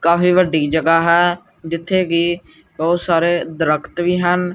ਕਾਫੀ ਵੱਡੀ ਜਗਾਹ ਹੈ ਜਿੱਥੇ ਕੀ ਬਹੁਤ ਸਾਰੇ ਦਰੱਖਤ ਵੀ ਹਨ।